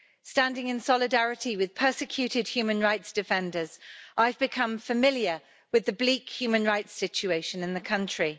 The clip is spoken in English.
Standing in solidarity with persecuted human rights defenders, I've become familiar with the bleak human rights situation in the country.